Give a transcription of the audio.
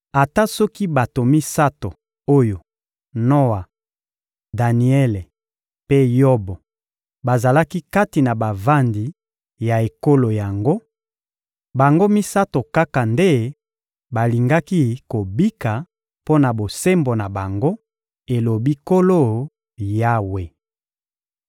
ata soki bato misato oyo, ‹Noa, Daniele mpe Yobo,› bazalaki kati na bavandi ya ekolo yango, bango misato kaka nde balingaki kobika mpo na bosembo na bango, elobi Nkolo Yawe.